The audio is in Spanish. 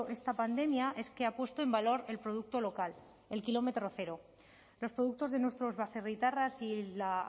esta pandemia es que ha puesto en valor el producto local el kilómetro cero los productos de nuestros baserritarras y la